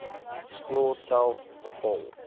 skool self bepaal